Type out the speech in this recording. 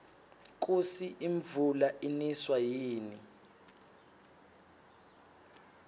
kusi imvula iniswa yini